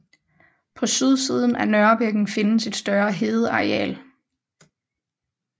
På sydsiden af Nørrebækken findes et større hedeareal